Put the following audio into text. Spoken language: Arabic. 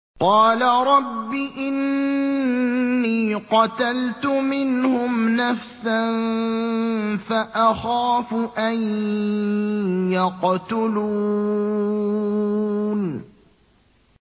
قَالَ رَبِّ إِنِّي قَتَلْتُ مِنْهُمْ نَفْسًا فَأَخَافُ أَن يَقْتُلُونِ